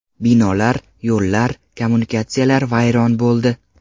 Binolar, yo‘llar, kommunikatsiyalar vayron bo‘ldi.